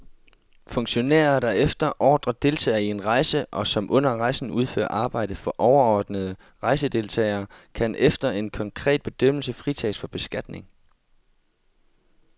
Funktionærer, der efter ordre deltager i en rejse og som under rejsen udfører arbejde for overordnede rejsedeltagere, kan efter en konkret bedømmelse fritages for beskatning.